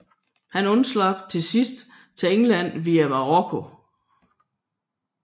Han undslap til sidst til England via Marokko